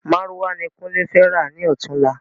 Márúwá ni kunle fẹ rà ni ọ̀túnla